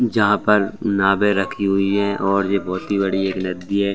जहाँ पर नावे रखी हुई हैं और ये बहुत ही बड़ी एक नदी है।